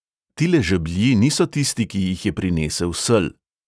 Tile žeblji niso tisti, ki jih je prinesel sel!